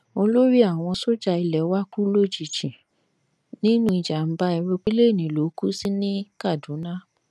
olórí àwọn sójà ilé wa kú lójijì nínú ìjàmàbá èròǹpilẹẹni ló kù sí ní kaduna